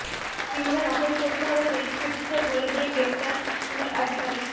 কীভাবে নকল করতে হবে পরীক্ষার্থীদের বলে দিয়ে গ্রেফতার স্কুল আধিকারিক